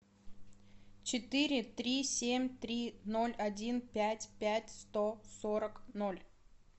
четыре три семь три ноль один пять пять сто сорок ноль